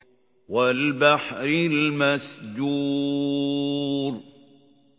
وَالْبَحْرِ الْمَسْجُورِ